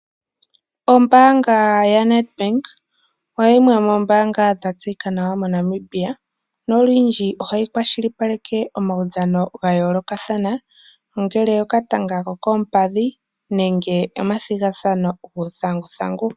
Ombaanga ya-Nedbank, oyo yimwe yomoombanga dha tseyika nawa moNamibia, olundji ohayi kwashilipaleke omaudhano ga yoolokathana, ngaashi okatanga kokoompadhi nenge omathigathano guu thanguthangu.